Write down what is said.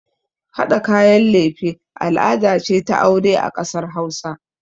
Haɗa kayan lefe al'ada ce ta aure a ƙasar hausa